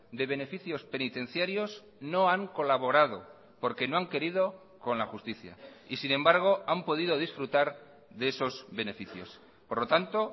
de beneficios penitenciarios no han colaborado porque no han querido con la justicia y sin embargo han podido disfrutar de esos beneficios por lo tanto